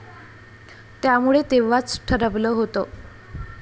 त्यामुळे तेव्हाच ठरवलं होत.